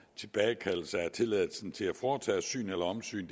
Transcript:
tilbagekaldelse af tilladelsen til at foretage syn eller omsyn